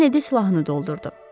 Kenedi silahını doldurdu.